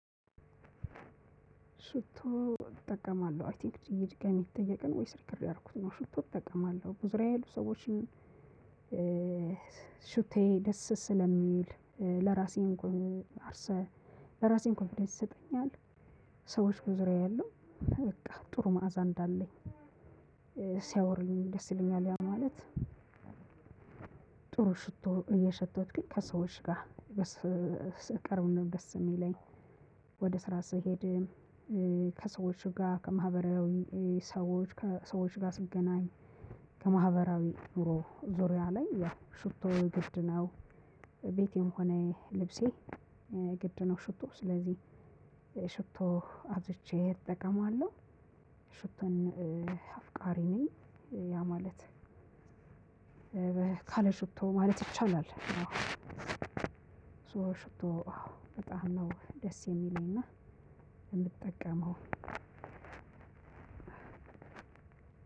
ሽቶ እጠቀማለሁ አይ ቲንክ ድጋሚሜ እየጠየቀ ነው ወይስ ሪከርድ ያረግሁት ነው ሽቶ እጠቀማለሁ በዙሪያዬ ያሉ ሰዎችን። ሽታየ ደስ ስለሚል። ለራሴም ኮንፊደንስ ይሰጠኛል። ሰዎች በዙሪያ ያሉ በቃ ጥሩ መዓዛ እንዳለኝ ሲያወሩኝ ደስ ይለኛል። ያ ማለት ጥሩ ሽቶ እየሸተትሁኝ ከሰዎች ጋር ብቀርብ ነው ደስ የሚለኝ። ወደ ስራ ስሄድም ከሰዎች ጋር ከማህበራዊ ሰዎች ከሰዎች ጋር ስገናኝ ከማህበራዊ ኑሮ ዙሪያ ላይ ያ ሹቶ ግድ ነው። ቤቴም ሆነ ልብሴ ግድ ነው። ሽቶ ስለዚህ ሽቶ አብዝቼ እጠቀማለሁ። ሽቶን አፍቃሪ ነኝ። ያ ማለት ካለ ሽቶ ማለት ይቻላል። ሶ ሽብቶ በጣም ነው ደስ የሚለኝና የምጠቀመው።